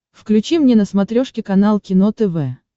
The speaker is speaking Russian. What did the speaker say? включи мне на смотрешке канал кино тв